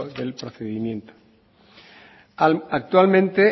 del procedimiento actualmente